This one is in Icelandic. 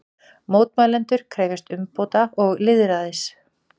Mótmælendur krefjast umbóta og lýðræðis